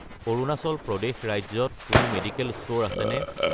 অৰুণাচল প্ৰদেশ ৰাজ্যত কোনো medical store আছেনে?